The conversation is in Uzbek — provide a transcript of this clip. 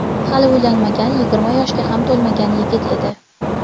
Hali uylanmagan, yigirma yoshga ham to‘lmagan yigit edi.